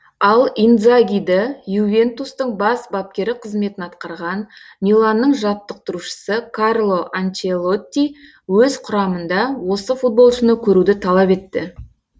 ал индзагиді ювентустың бас бапкері қызметін атқарған миланның жаттықтырушысы карло анчелотти өз құрамында осы футболшыны көруді талап етті